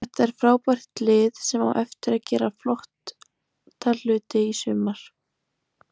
Þetta er frábært lið sem á eftir að gera flott hluti í sumar.